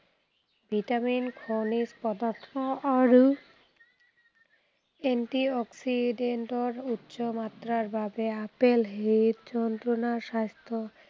vitamin, খনিজ পদাৰ্থ আৰু anti-oxident ৰ উচ্চ মাত্ৰাৰ বাবে আপেল হৃদযন্ত্ৰণাৰ স্বাস্থ্য